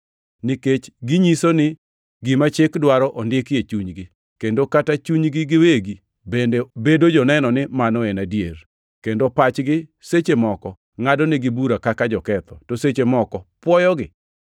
nikech ginyiso ni gima Chik dwaro ondiki e chunygi, kendo kata chunygi giwegi bende bedo joneno ni mano en adier, kendo pachgi seche moko ngʼadonegi bura kaka joketho, to seche moko pwoyogi.)